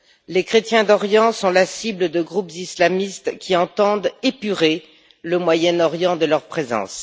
Les chrétiens d'Orient sont la cible de groupes islamistes qui entendent épurer le Moyen Orient de leur présence.